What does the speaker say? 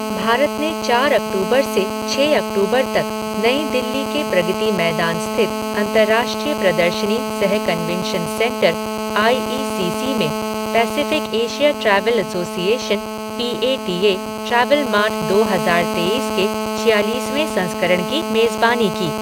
भारत ने चार अक्टूबर से छः अक्टूबर तक नई दिल्ली के प्रगति मैदान स्थित अंतर्राष्ट्रीय प्रदर्शनी सह convention centre I E C C में Pacific Asia travel association P A T A travel mart दो हजार तेईस के छियालीसवें संस्करण की मेजबानी की।